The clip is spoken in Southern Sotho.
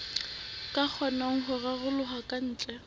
ka kgonang ho raroloha kantle